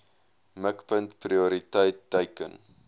mikpunt prioriteit teiken